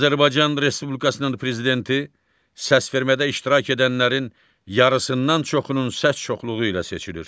Azərbaycan Respublikasının Prezidenti səsvermədə iştirak edənlərin yarısından çoxunun səs çoxluğu ilə seçilir.